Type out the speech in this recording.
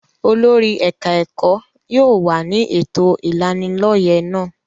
Olórí ẹ̀ka-ẹ̀kọ́ yóò wà ní ètò ìlanilọ́yẹ́ náà.